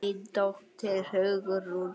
Þín dóttir Hugrún.